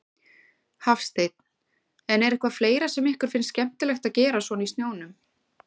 Hafsteinn: En er eitthvað fleira sem ykkur finnst skemmtilegt að gera svona í snjónum?